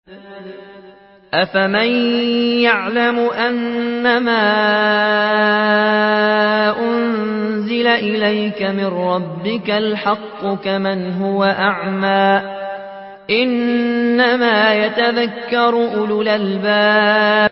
۞ أَفَمَن يَعْلَمُ أَنَّمَا أُنزِلَ إِلَيْكَ مِن رَّبِّكَ الْحَقُّ كَمَنْ هُوَ أَعْمَىٰ ۚ إِنَّمَا يَتَذَكَّرُ أُولُو الْأَلْبَابِ